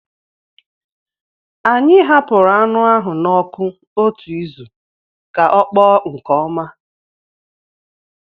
Anyị hapụrụ anụ ahụ n'ọkụ otu izu ka ọ kpọọ nke ọma